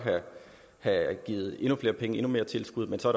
have givet endnu flere penge endnu mere tilskud men så